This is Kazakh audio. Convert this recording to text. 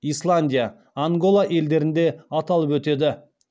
исландия ангола елдерінде аталып өтеді